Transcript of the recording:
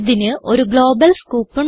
ഇതിന് ഒരു global scope ഉണ്ട്